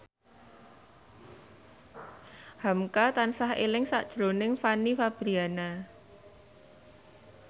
hamka tansah eling sakjroning Fanny Fabriana